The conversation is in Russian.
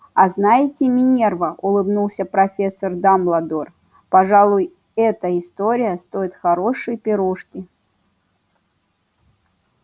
а знаете минерва улыбнулся профессор дамбладор пожалуй эта история стоит хорошей пирушки